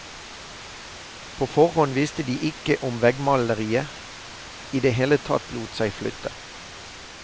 På forhånd visste de ikke om veggmaleriet i det hele tatt lot seg flytte.